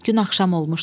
Gün axşam olmuşdu.